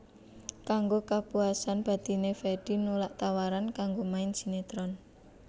Kanggo kapuasan batiné Fedi nolak tawaran kanggo main sinetron